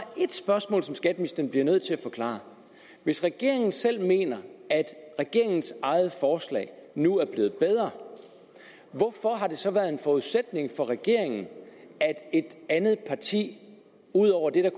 ét spørgsmål som skatteministeren bliver nødt til at forklare hvis regeringen selv mener at regeringens eget forslag nu er blevet bedre hvorfor har det så været en forudsætning for regeringen at et andet parti ud over det der